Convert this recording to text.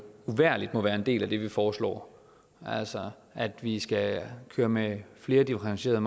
uvægerlig må være en del af det vi foreslår altså at vi skal køre med flere differentierede